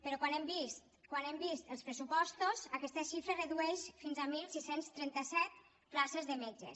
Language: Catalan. però quan hem vist els pressupostos aquesta xifra es redueix fins a setze trenta set places de metges